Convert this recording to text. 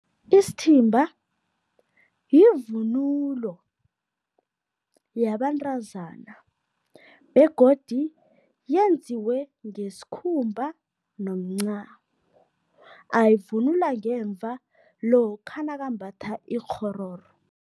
Isithimba yivunulo yabentazana begodu yenziwe ngesikhumba nomncamo, ayivunula ngemva lokha nakambatha ikghororo.